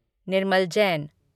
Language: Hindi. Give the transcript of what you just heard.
निर्मल जैन